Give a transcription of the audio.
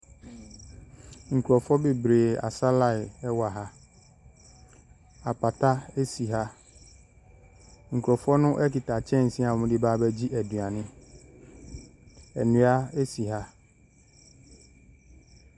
Nkurɔfoɔ bebree asa line wɔ ha. Apata si ha. Nkurɔfoɔ no kita kyɛnse a wɔde reba abɛgye aduane. Nnua si ha.